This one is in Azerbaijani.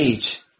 Qəyç.